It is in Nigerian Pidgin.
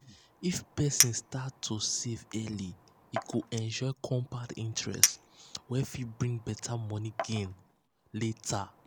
if person start to save early e go enjoy compound interest wey um fit bring better um money gain um later.